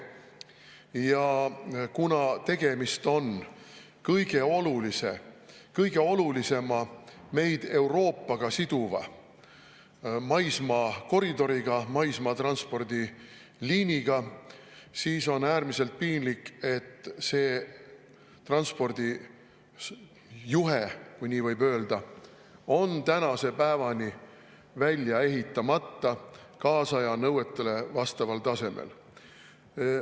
Ja kuna tegemist on kõige olulisema meid Euroopaga siduva maismaakoridoriga, maismaatranspordi liiniga, siis on äärmiselt piinlik, et see transpordijuhe – kui nii võib öelda – on tänase päevani välja ehitamata kaasaja nõuetele vastaval tasemel.